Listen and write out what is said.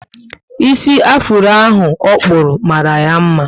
Isi afuro ahụ okpuru mara ya mma